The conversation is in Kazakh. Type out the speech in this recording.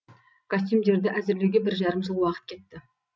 костюмдерді әзірлеуге бір жарым жыл уақыт кетті